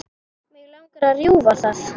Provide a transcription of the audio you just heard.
Mig langar að rjúfa það.